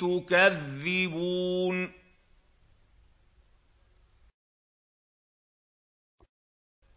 تُكَذِّبُونَ